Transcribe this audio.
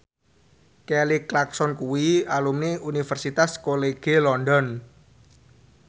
Kelly Clarkson kuwi alumni Universitas College London